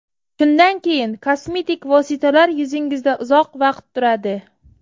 Shundan keyin kosmetik vositalar yuzingizda uzoq vaqt turadi.